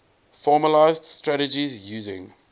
formalised strategies using